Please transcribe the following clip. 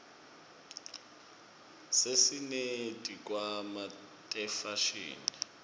sesineti khwama tefashini